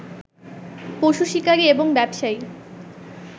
পশু শিকারী এবং ব্যবসায়ী